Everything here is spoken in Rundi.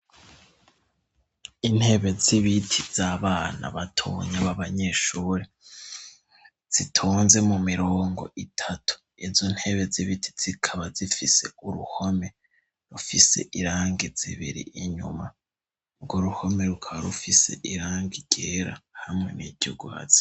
Intebe z'ibiti z'abana batunya ba banyeshuri zitonze mu mirongo itatu izo ntebe z'ibiti zikaba zifise uruhome rufise irange zibiri inyuma ngo ruhome rukabaa rufise irange ryera hamwe niryuguha.